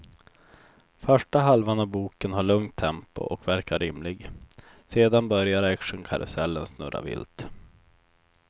Första halvan av boken har lugnt tempo och verkar rimlig, sedan börjar actionkarusellen snurra vilt.